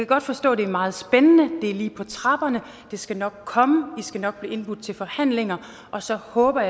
godt forstå at det er meget spændende det er lige på trapperne det skal nok komme i skal nok blive indbudt til forhandlinger og så håber